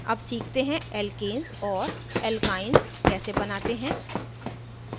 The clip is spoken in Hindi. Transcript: अब सीखते हैं alkenes और alkenes कैसे बनाते हैं